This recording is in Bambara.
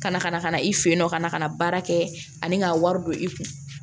Ka na ka na ka na i fɛ yen nɔ ka na ka na baara kɛ ani ka wari don i kun